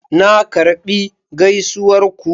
Na karbi gaisuwar ku.